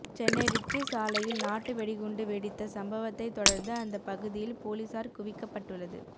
Chennai Ritchie சாலையில் நாட்டு வெடிகுண்டு வெடித்த சம்பவத்தை தொடர்ந்து அந்த பகுதியில் போலீசார் குவிக்கப்பட்டுள்ளது